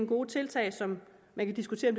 gode tiltag som man kan diskutere